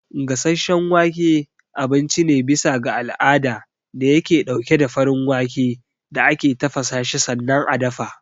Gasasshen wake abinci ne bisa ga al'ada dayake ɗauke da farin wake da ake tafasashi sannan a dafa.